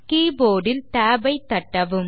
keyboard இல் tab ஐ தட்டவும்